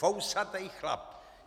Fousatej chlap.